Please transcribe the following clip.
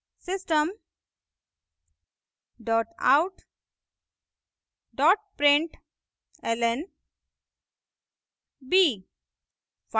system dot out dot println b;